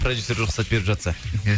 проюдсері рұқсат беріп жатса иә